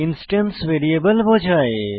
instance variable বোঝায়